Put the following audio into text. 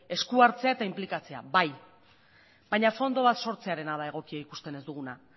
eskuhartzea eta inplikatzea bai baina fondoa sortzearena da egokia ikusten ez duguna